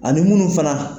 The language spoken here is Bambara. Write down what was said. Ani munnu fana